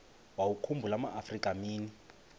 wawakhumbul amaafrika mini